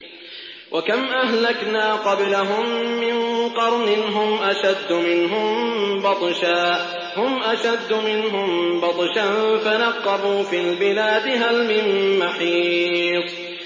وَكَمْ أَهْلَكْنَا قَبْلَهُم مِّن قَرْنٍ هُمْ أَشَدُّ مِنْهُم بَطْشًا فَنَقَّبُوا فِي الْبِلَادِ هَلْ مِن مَّحِيصٍ